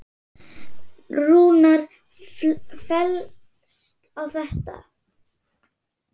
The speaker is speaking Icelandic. Rúnar fellst á þetta.